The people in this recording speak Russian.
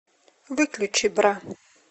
выключи бра